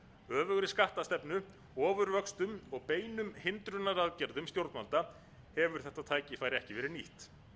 öfugri skattastefnu ofurvöxtum og beinum hindrunaraðgerðum stjórnvalda hefur þetta tækifæri ekki verið nýtt